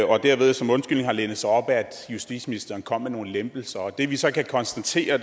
og derved som undskyldning har lænet sig op ad at justitsministeren kom med nogle lempelser det vi så kan konstatere